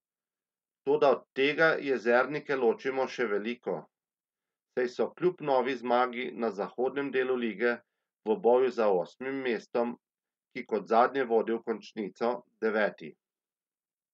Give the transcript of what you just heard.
Toda od tega jezernike loči še veliko, saj so kljub novi zmagi na zahodnem delu lige v boju za osmim mestom, ki kot zadnje vodi v končnico, deveti.